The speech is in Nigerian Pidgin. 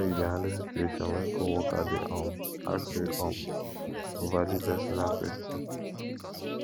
how you dey handle situation when coworker dey um ask you um overly personal question